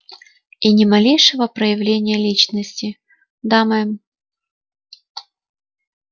и ни малейшего проявления личности да мэм